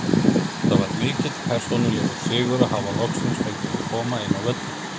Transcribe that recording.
Það var mikill persónulegur sigur að hafa loksins fengið að koma inn á völlinn.